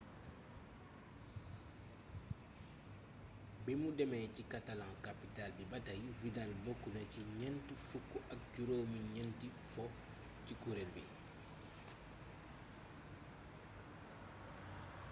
bimu démé ci catalan-capital bi batay vidal bokk na ci ñent fukk ak juróom ñénti fo ci kureel bi